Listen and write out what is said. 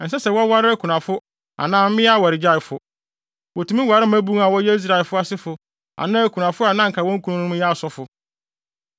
Ɛnsɛ sɛ wɔware akunafo anaa mmea awaregyaefo. Wotumi ware mmabun a wɔyɛ Israelfo asefo anaa akunafo a na anka wɔn kununom yɛ asɔfo.